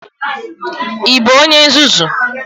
Ị bụ onye nzuzu?